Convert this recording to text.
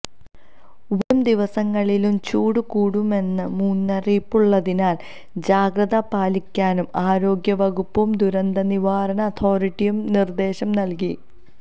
വരുംദിവസങ്ങളിലും ചൂട് കൂടുമെന്ന് മുന്നറിയിപ്പുള്ളതിനാല് ജാഗ്രതപാലിക്കാനും ആരോഗ്യവകുപ്പും ദുരന്തനിവാരണ അതോറിറ്റിയും നിര്ദേശംനല്കി